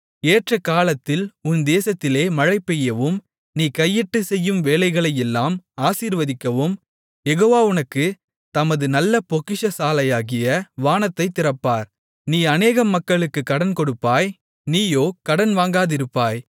ஏற்ற காலத்தில் உன் தேசத்திலே மழை பெய்யவும் நீ கையிட்டுச்செய்யும் வேலைகளையெல்லாம் ஆசீர்வதிக்கவும் யெகோவா உனக்குத் தமது நல்ல பொக்கிஷசாலையாகிய வானத்தைத் திறப்பார் நீ அநேகம் மக்களுக்குக் கடன்கொடுப்பாய் நீயோ கடன் வாங்காதிருப்பாய்